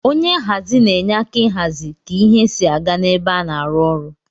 Onye nhazi na enye aka ihazi ka ihe si aga na ebe ana arụ ọrụ.